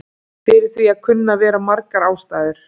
Fyrir því kunna að vera margar ástæður.